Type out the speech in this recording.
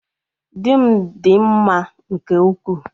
Di m di m mma nke ukwuu